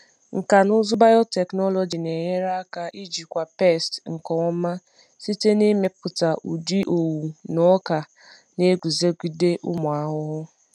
Nkà na ụzụ biotechnology na-enyere aka ijikwa pesti nke ọma site n’ịmepụta ụdị owu na ọka na-eguzogide ụmụ ahụhụ.